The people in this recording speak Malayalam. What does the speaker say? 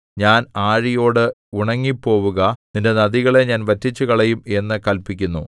ഞാൻ ആഴിയോട് ഉണങ്ങിപ്പോവുക നിന്റെ നദികളെ ഞാൻ വറ്റിച്ചുകളയും എന്നു കല്പിക്കുന്നു